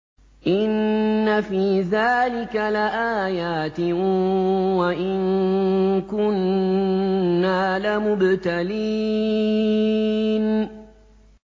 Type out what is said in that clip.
إِنَّ فِي ذَٰلِكَ لَآيَاتٍ وَإِن كُنَّا لَمُبْتَلِينَ